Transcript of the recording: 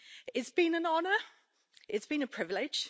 It's been an honour it's been a privilege.